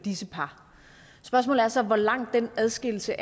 disse par spørgsmålet er så hvor lang den adskillelse